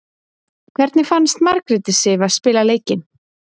Hvernig fannst Margréti Sif að spila leikinn?